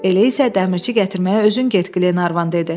Elə isə dəmirçi gətirməyə özün get, Qlenarvan dedi.